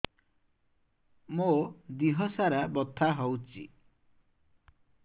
ମୋ ଦିହସାରା ବଥା ହଉଚି